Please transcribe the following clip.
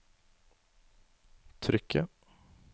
trykket